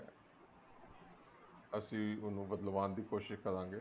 ਅਸੀਂ ਉਹਨੂੰ ਬਦਲਵਾਨ ਦੋ ਕੋਸ਼ਿਸ਼ ਕਰਾਂਗੇ